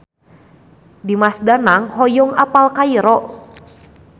Dimas Danang hoyong apal Kairo